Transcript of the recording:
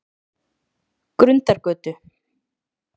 Grundargötu